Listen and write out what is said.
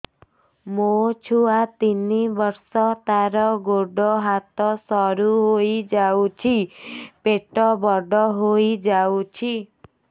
ମୋ ଛୁଆ ତିନି ବର୍ଷ ତାର ଗୋଡ ହାତ ସରୁ ହୋଇଯାଉଛି ପେଟ ବଡ ହୋଇ ଯାଉଛି